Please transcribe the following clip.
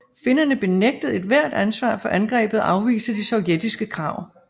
Finnerne benægtede ethvert ansvar for angrebet og afviste de sovjetiske krav